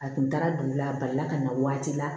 A kun taara dugu la a balila ka na waati la